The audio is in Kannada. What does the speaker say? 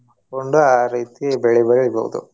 ಆ ರೀತಿ ಬೆಳಿ ಬೆಳಿಬಹುದು.